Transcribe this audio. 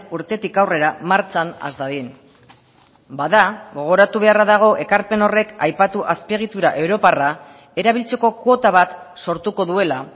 urtetik aurrera martxan has dadin bada gogoratu beharra dago ekarpen horrek aipatu azpiegitura europarra erabiltzeko kuota bat sortuko duela